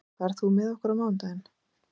Svanlaug, ferð þú með okkur á mánudaginn?